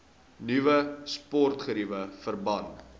nuwe sportgeriewe verband